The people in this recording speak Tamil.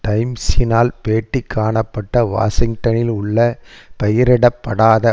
டைம்ஸினால் பேட்டி காணப்பட்ட வாஷிங்டனில் உள்ள பெயரிடப்படாத